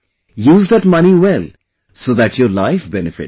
Use that money well so that your life benefits